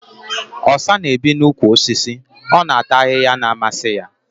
Osa na-ebi n'úkwù osisi. Ọ na-ata ahịhịa na-amasị ya